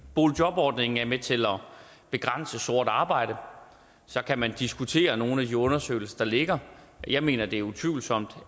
boligjobordningen er med til at begrænse sort arbejde så kan man diskutere nogle af de undersøgelser der ligger og jeg mener at det er utvivlsomt